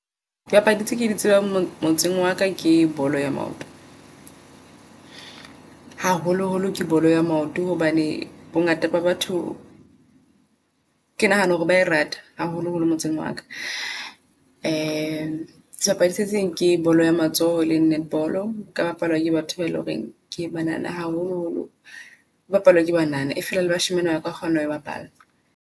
Dipapadi tse ke di tsebang mo motseng waka ke bolo ya maoto. Haholo holo ke bolo ya maoto hobane bongata ba batho ke nahana hore bae rata haholo holo motseng waka. Sebapadi seseng ke bolo ya matsoho eleng Netball ka ha ke batho bae loreng ke banana haholoholo. E bapalwa ke banana e fela le bashimane baka kgona hoe bapala.